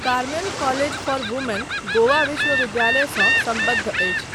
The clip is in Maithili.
Carmel college for women Goa विश्वविद्यालयसँ सम्बद्ध अछि।